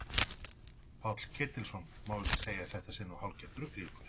Páll Ketilsson: Má ekki segja að þetta sé nú hálfgert rugl í ykkur?